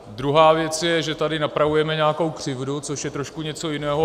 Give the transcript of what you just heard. Druhá věc je, že tady napravujeme nějakou křivdu, což je trošku něco jiného.